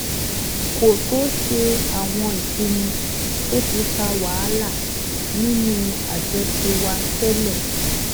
kó tó ṣe àwọn ìpinnu tó ti fa wàhálà nínú àjọṣe wa tẹ́lẹ̀